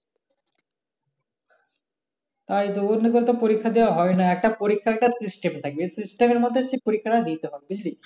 তাই তো অমনে কেরে পরীক্ষা দেওয়া হবে না একটা পরীক্ষা টার system থাকবে এই system সে মধ্যে পরীক্ষা টা নিতে হবে বুঝলি